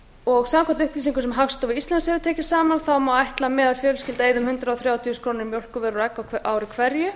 kúamjólkur samkvæmt upplýsingum sem hagstofa íslands hefur tekið saman má ætla að meðalfjölskylda eyði um hundrað þrjátíu þúsund krónur í mjólkurvörur og egg á ári hverju